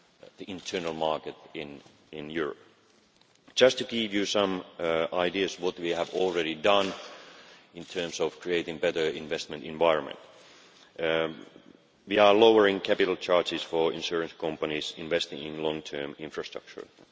the internal market in Europe. Just to give you some ideas of what we have already done in terms of creating a better investment environment, we are lowering capital charges for insurance companies investing in long term infrastructure.